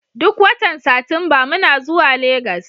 Duk watan Satumba muna zuwa Legas.